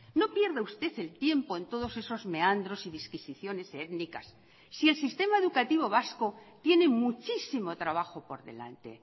no pierda usted el tiempo en todos esos meandros y disquisiciones étnicas si el sistema educativo vasco tiene muchísimo trabajo por delante